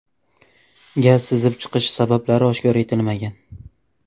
Gaz sizib chiqishi sabablari oshkor etilmagan.